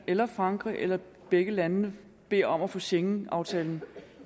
eller frankrig eller begge landene beder om at få schengenaftalen